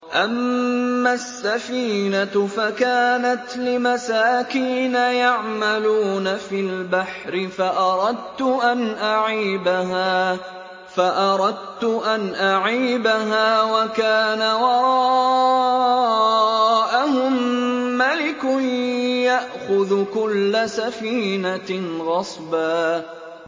أَمَّا السَّفِينَةُ فَكَانَتْ لِمَسَاكِينَ يَعْمَلُونَ فِي الْبَحْرِ فَأَرَدتُّ أَنْ أَعِيبَهَا وَكَانَ وَرَاءَهُم مَّلِكٌ يَأْخُذُ كُلَّ سَفِينَةٍ غَصْبًا